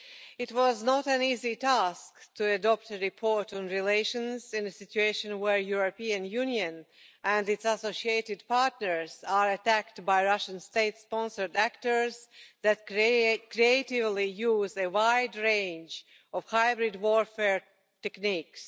It was not an easy task to produce a report on relations in a situation in which the European Union and its associated partners are being attacked by Russian state sponsored actors that creatively use a wide range of hybrid warfare techniques.